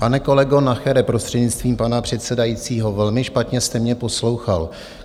Pane kolego Nachere, prostřednictvím pana předsedajícího, velmi špatně jste mě poslouchal.